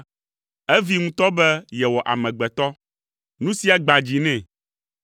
evee ŋutɔ be yewɔ amegbetɔ. Nu sia gbã dzi nɛ.